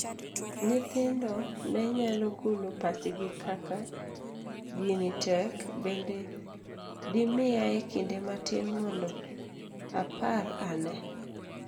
Nyithindo ne nyalo golo pachgi kaka, gini tek, bende dimiyae kinde matin mondo apar anee.?